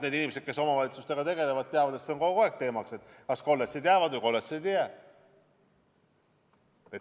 Need inimesed, kes omavalitsustega tegelevad, teavad, et see on kogu aeg teemaks olnud, kas kolledžid jäävad või kolledžid ei jää.